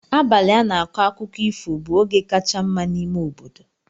Abalị a na-akọ akụkọ ifo bụ oge kacha mma n'ime obodo.